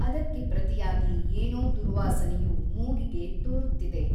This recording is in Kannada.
ಅದಕ್ಕೆ ಪ್ರತಿಯಾಗಿ ಏನೋ ದುರ್ವಾಸನೆಯು ಮೂಗಿಗೆ ತೋರುತ್ತಿದೆ.